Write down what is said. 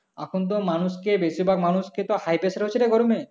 এখন তো মানুষকে বেশিরভাগ মানুষকে তো high pressure হচ্ছে রে গরমে